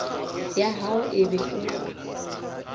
ya hao e be o